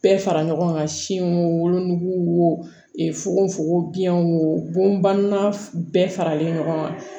Bɛɛ fara ɲɔgɔn kan siw nugu e fuko fogo biɲɛw bonyana bɛɛ faralen ɲɔgɔn kan